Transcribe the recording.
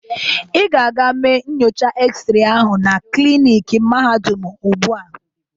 Ị ga-aga mee nyocha x-ray ahụ na kliniki mahadum ugbu a!